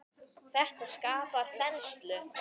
Þetta skapar þenslu.